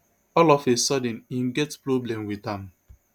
all of a sudden im get problem wit am